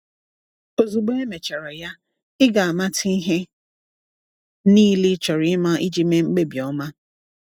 Ozugbo emechara ya, ị ga-amata ihe niile ị chọrọ ịma iji mee mkpebi ọma.